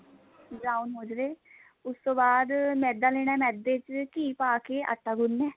brown ਹੋ ਜਾਵੇ ਉਸ ਤੋਂ ਬਾਅਦ ਮੈਦਾ ਲੇਣਾ ਮੈਦੇ ਚ ਘੀ ਪਾਕੇ ਆਟਾ ਗੁਨਣਾ